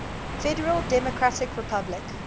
federal democratic republic